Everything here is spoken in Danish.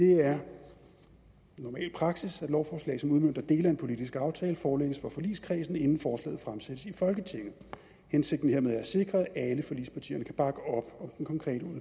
det er normal praksis at lovforslag som udmønter dele af en politisk aftale forelægges for forligskredsen inden forslaget fremsættes i folketinget hensigten hermed er at sikre at alle forligspartierne kan bakke op om den konkrete